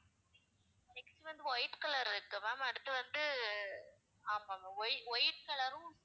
next வந்து white color இருக்கு ma'am அடுத்து வந்து அஹ் ஆமாம் ma'am whi~ white color உம்